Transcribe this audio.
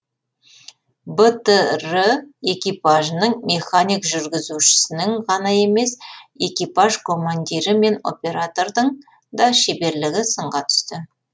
бтр экипажының механик жүргізушісінің ғана емес экипаж командирі мен оператордың да шеберлігі сынға түсті